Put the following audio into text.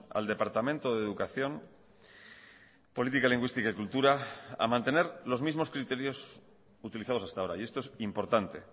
al departamento de educación política lingüística y cultura a mantener los mismos criterios utilizados hasta ahora y esto es importante